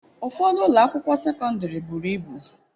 Ụfọdụ ụlọ akwụkwọ sekọndrị buru ibu.